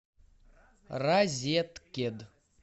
розеткед